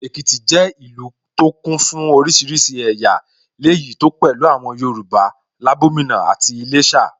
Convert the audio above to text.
Èkìtì jẹ́ ìlú tó kún fún oríṣiríṣi ẹ̀yà, léyìí tó pẹ̀lú àwọn Yorùbá, Labomina àti Iléshà